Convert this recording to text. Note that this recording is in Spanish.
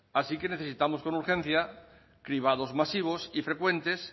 así que necesitamos con urgencia cribados masivos y frecuentes